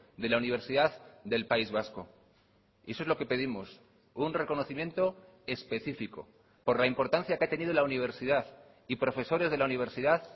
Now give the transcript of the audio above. de la universidad del país vasco y eso es lo que pedimos un reconocimiento específico por la importancia que ha tenido la universidad y profesores de la universidad